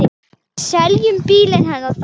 Við seljum bílinn hennar þá.